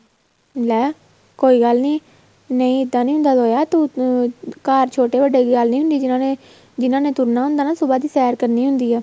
ਲੈ ਕੋਈ ਗੱਲ ਨਹੀਂ ਨਹੀਂ ਇੱਦਾਂ ਨਹੀਂ ਹੋਣਾ ਤੂੰ ਅਹ ਘਰ ਛੋਟੇ ਵੱਡੇ ਦੀ ਗੱਲ ਨਹੀਂ ਹੁੰਦੀ ਜਿਹਨਾ ਨੇ ਜਿਹਨਾ ਨੇ ਤੁਰਨਾ ਹੁੰਦਾ ਨਾ ਸੁਭਾਹ ਦੀ ਸੈਰ ਕਰਨੀ ਹੁੰਦੀ ਆ